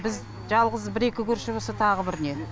біз жалғыз бір екі көрші болсақ тағы бір не